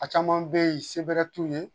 A caman be ye, se bɛrɛ t'u ye.